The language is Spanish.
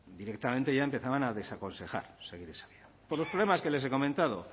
directamente ya empezaban a desaconsejar seguir esa vía por los problemas que les he comentado